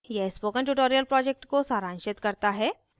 यह spoken tutorial project को सारांशित करता है